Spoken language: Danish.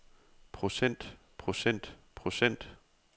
procent procent procent